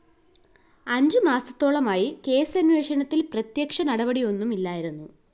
അഞ്ചു മാസത്തോളമായി കേസന്വേഷണത്തില്‍ പ്രത്യക്ഷ നടപടിയൊന്നുമില്ലായിരുന്നു